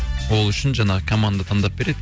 ол үшін жаңағы команда таңдап береді